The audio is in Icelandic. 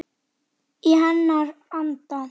Í hennar anda.